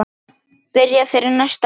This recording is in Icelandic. Byrja þeir næsta leik?